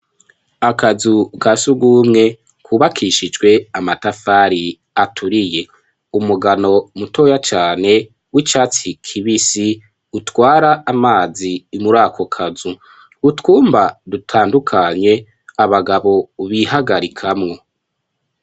Akazu ka sugumwe kubakishijwe amatafari aturiye. Umugano mutoya cane w'icatsi kibisi utwara amazi muri ako kazu utwumba dutandukanye abagabo bihagarikamwo.